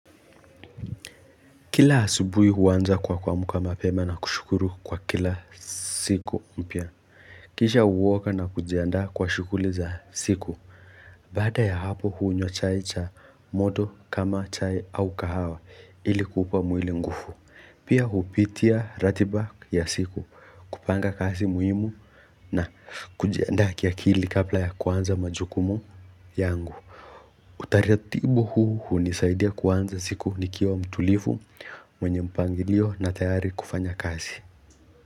Kila asubuhi huanza kwa kuamka mapema na kushukuru kwa kila siku mpya. Kisha huoga na kujiandaa kwa shughuli za siku. Baada ya hapo hunywa chai cha moto kama chai au kahawa ili kupa mwili nguvu. Pia hupitia ratiba ya siku kupanga kazi muhimu na kujiandaa kiakili kabla ya kuanza majukumu yangu. Utaratibu huu hunisaidia kuanza siku nikiwa mtulivu mwenye mpangilio na tayari kufanya kazi.